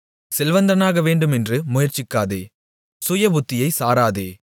செல்வந்தனாகவேண்டுமென்று முயற்சிக்காதே சுயபுத்தியைச் சாராதே